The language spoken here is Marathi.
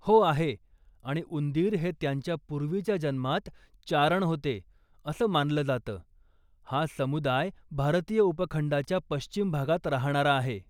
हो आहे, आणि उंदीर हे त्यांच्या पूर्वीच्या जन्मात चारण होते असं मानलं जातं, हा समुदाय भारतीय उपखंडाच्या पश्चिम भागात राहणारा आहे.